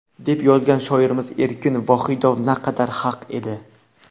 deb yozgan shoirimiz Erkin Vohidov naqadar haq edi.